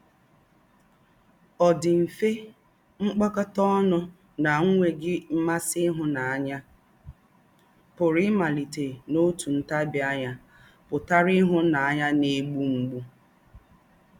“Ọ̀ dì̄ mfè, mkpókòtá ọnù na-ànwé̄ghị̄ ḿmàsí ìhù̀náńyà pụ̀rù ímálítè n’òtù ntábìánya pụ̀tàrà ìhù̀náńyà na-ègbú mgbù.”